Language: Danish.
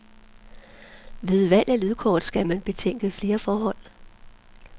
Ved valg af lydkort skal man betænke flere forhold.